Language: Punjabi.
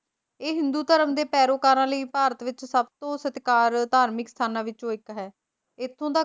ਇਹ ਹਿੰਦੂ ਧਰਮ ਦੇ ਪੈਰੋਕਾਰਾਂ ਲਈ ਭਾਰਤ ਵਿੱਚ ਸਭਤੋਂ ਵੱਧ ਸਤਿਕਾਰ ਧਾਰਮਿਕ ਸਥਾਨਾਂ ਵਿੱਚੋਂ ਇੱਕ ਹੈ, ਇੱਥੋਂ ਦਾ